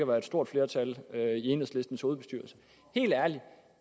være et stort flertal deri enhedslistens hovedbestyrelse helt ærligt